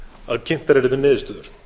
að kynntar yrðu niðurstöður